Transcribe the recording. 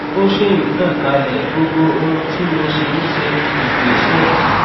ó ṣì ń tàn kálẹ gbogbo ohun tí mo sì ń ṣe kò gbéṣẹ